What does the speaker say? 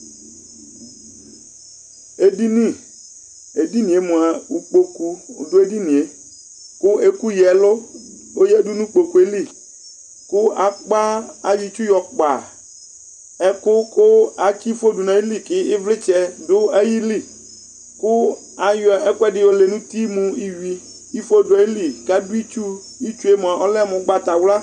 Ɛɖiŋi, ɛɖìníɛ mʋa ikpoku ɔɖu ɛɖìníe kʋ ya ɛlu ɔyaɖu ŋu kpokue li Ayɔ itsu yɔkpa ɛku kʋ atsi ifo ɖuŋu ayìlí kʋ ivlitsɛ ɖu ayìlí kʋ ayɔ ɛkʋɛɖi yɔlɛ ŋu uti mu iwʋi ifo ɖu ayìlí kʋ aɖu itsu Itsue mʋa ɔlɛ mu ugbatawla